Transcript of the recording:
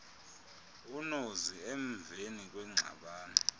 unozi emveni kwengxabano